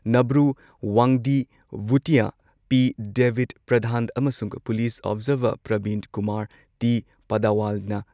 Nabru Wangdi Bhutia, P. ꯗꯦꯕꯤꯗ ꯄ꯭ꯔꯙꯥꯟ ꯑꯃꯁꯨꯡ police observer Prabinkumar T. ꯄꯗꯋꯥꯜꯅ